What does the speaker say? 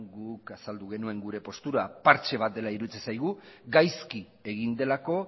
guk azaldu genuen gure postura partxe bat dela iruditzen zaigu gaizki egin delako